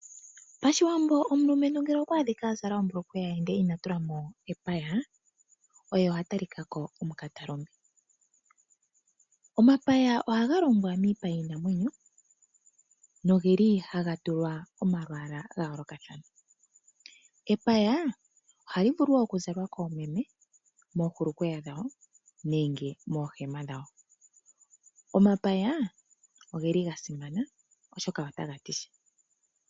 Pashiwambo omulumentu ngele okwa adhika a zala ombulukweya ndele ina tulamo epaya oye oha talikako omukatalume, omapaya oha ga longwa miipa yiinamwenyo nogeli ha ga tulwa omalwaala ga yoolokathana, epaya ohali vulu oku zalwa koomeme moohulukweya dhawo nenge moohema dhawo, omapaya ogeli ga simana oshoka otaga ti sha.